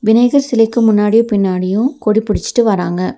விநாயகர் சிலைக்கு முன்னாடியு பின்னாடியு கொடி புடிச்சிட்டு வராங்க.